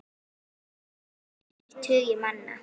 Þrír tugir manna.